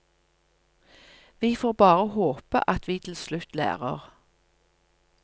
Vi får bare håpe at vi til slutt lærer.